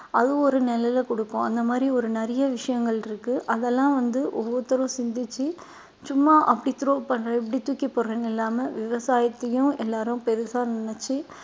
அது ஒரு நிழல கொடுக்கும் அந்த மாதிரி ஒரு நிறைய விஷயங்கள் இருக்கு அதெல்லாம் வந்து ஒவ்வொருத்தரும் சிந்திச்சு சும்மா அப்படி throw பண்ணறேன் இப்படி தூக்கி போடுறேன்னு இல்லாம விவசாயத்தையும் எல்லாரும் பெருசா நினைச்சு